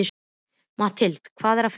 Matthilda, hvað er að frétta?